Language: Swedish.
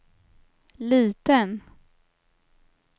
liten